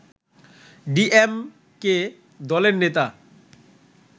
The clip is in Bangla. ডি এম কে দলের নেতা